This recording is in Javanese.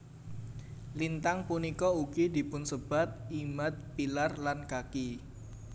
Lintang punika ugi dipunsebat Imad pillar lan Kaki